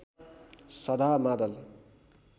सधा मादल